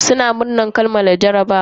Suna murnan kammala jarabawa.